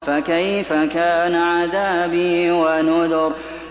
فَكَيْفَ كَانَ عَذَابِي وَنُذُرِ